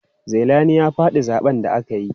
Zailani ya faɗi zaɓen da aka yi.